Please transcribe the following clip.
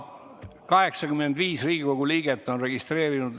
85 Riigikogu liiget on kohaloleku registreerinud.